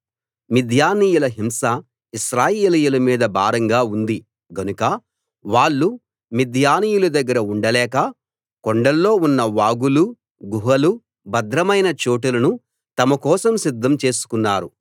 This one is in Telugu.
మిద్యానీయుల హింస ఇశ్రాయేలీయుల మీద భారంగా ఉంది గనుక వాళ్ళు మిద్యానీయుల దగ్గర ఉండలేక కొండల్లో ఉన్న వాగులు గుహలు భద్రమైన చోటులను తమ కోసం సిద్ధం చేసుకున్నారు